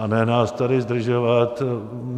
A ne nás tady zdržovat.